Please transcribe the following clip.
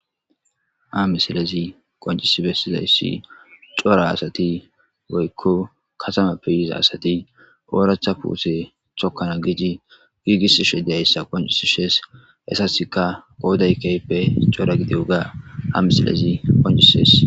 Hamisilez qoncis besizayis cora asat woyiko katamape yiza asat oratha pute tokana gid gigisishe dizayisa qonicises. Etasika qoday kehipe cora gidoga misilez qoncises.